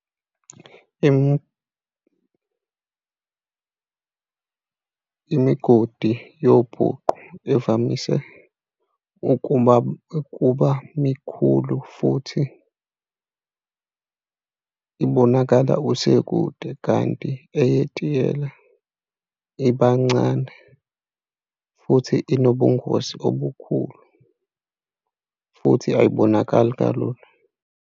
Imigodi yebhuqu ivamise ukuba, ukuba mikhulu futhi ibonakala kusekude kanti eyetiyela ibancane futhi inobungozi obukhulu futhi ayibonakali kalulu.